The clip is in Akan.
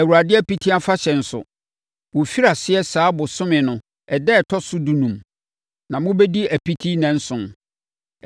Awurade Apiti Afahyɛ nso, wɔfiri aseɛ saa ɔbosome no ɛda a ɛtɔ so dunum; na mobɛdi apiti nnanson.